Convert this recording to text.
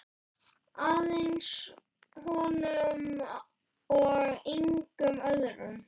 Aðeins honum og engum öðrum.